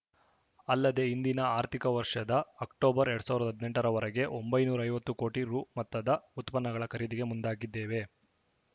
ಅಲ್ಲದೆ ಹಿಂದಿನ ಆರ್ಥಿಕ ವರ್ಷದ ಅಕ್ಟೋಬರ್‌ ಎರಡ್ ಸಾವಿರದ ಹದಿನೆಂಟರವರೆಗೆ ಒಂಬೈನೂರ ಐವತ್ತು ಕೋಟಿ ರು ಮೊತ್ತದ ಉತ್ಪನ್ನಗಳ ಖರೀದಿಗೆ ಮುಂದಾಗಿದ್ದೇವೆ